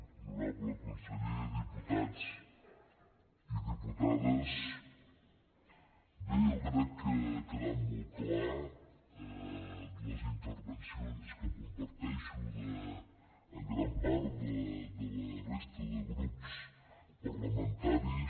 honorable conseller diputats i diputades bé jo crec que ha quedat molt clar a les intervencions que comparteixo en gran part de la resta de grups parlamentaris